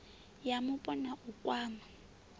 ya mupo na u kwama